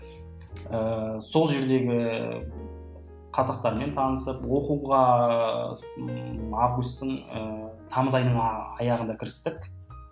ыыы сол жердегі қазақтармен танысып оқуға ыыы августың ыыы тамыз айының аяғында кірістік